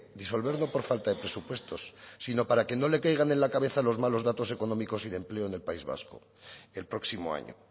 disolverlo por falta de presupuestos sino para que no le caigan en la cabeza los malos datos económicos y de empleo en el país vasco el próximo año